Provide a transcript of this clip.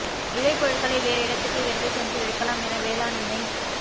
விளைபொருட்களை வேறு இடத்துக்கு எடுத்து சென்று விற்கலாம் என வேளாண் இணை